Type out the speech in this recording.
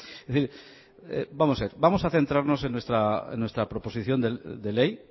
es decir vamos a ver vamos a centrarnos en nuestra proposición de ley